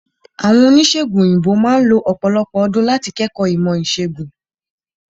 Àwọn Oníṣègùn òyìnbó máà lo ọ̀pọ̀lọpọ̀ ọdún láti kẹ́kọ̀ọ́ ìmọ̀ ìṣègùn.